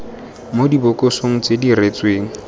mo dibokosong tse di diretsweng